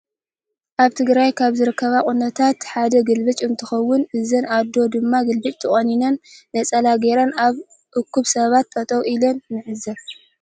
አብ ትግራይ ካብ ዝርከቡ ቁነታት ሓደ ግልብጭ እንትኮውን እዘን አደ ድማ ግልብጭ ተቂኒነን ነፀላ ገይረን አብ እኩብ ሰባት ጠጠው ኢለና ንዕዘብ።